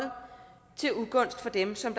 til ugunst for dem som